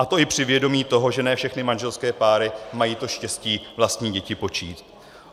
A to i při vědomí toho, že ne všechny manželské páry mají to štěstí vlastní děti počít.